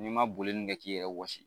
N'i man boli nun kɛ k'i yɛrɛ wɔsi